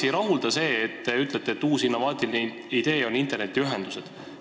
– ei rahulda see, kui te ütlete, et uus innovaatiline idee on internetiühendused.